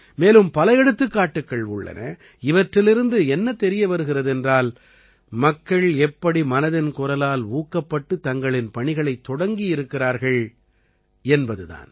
மேலும் பல எடுத்துக்காட்டுகள் உள்ளன இவற்றிலிருந்து என்ன தெரிய வருகிறது என்றால் மக்கள் எப்படி மனதின் குரலால் ஊக்கப்பட்டுத் தங்களின் பணிகளைத் தொடங்கியிருக்கிறார்கள் என்பது தான்